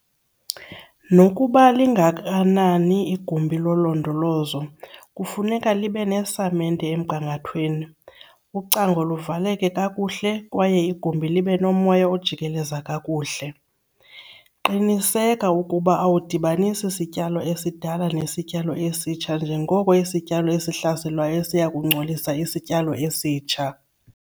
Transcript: Nokuba lingakanani igumbi lolondolozo, kufuneka libe nesamente emgangathweni, ucango luvaleke kakuhle kwaye igumbi libe nomoya ojikeleza kakuhle. Qiniseka ukuba awudibanisi sityalo esidala nesityalo esitsha njengoko isityalo esihlaselwayo siya kungcolisa isityalo esitsha.